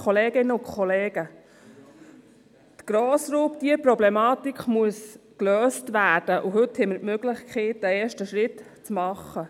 Die Grossraubtierproblematik muss gelöst werden, und heute haben wir die Möglichkeit, einen ersten Schritt zu tun.